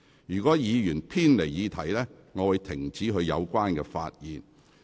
如果議員偏離議題，主席會指示議員停止發言。